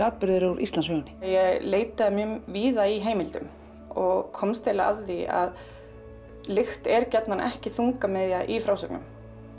atburðir úr Íslandssögunni ég leitaði víða í heimildum og komst að því að lykt er ekki þungamiðja í frásögnum